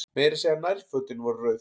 Meira að segja nærfötin voru rauð.